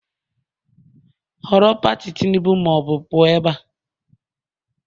Họrọ Pati Tinubu ma ọ bụ pụọ ebe a!